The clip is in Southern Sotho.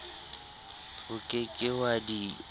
o ke ke wa di